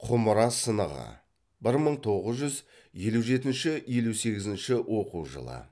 құмыра сынығы бір мың тоғыз жүз елу жетінші елу сегізінші оқу жылы